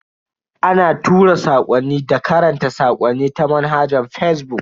Ana tura sakwanni da karanta sakonni ta manhajar fazbuk.